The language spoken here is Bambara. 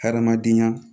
Hadamadenya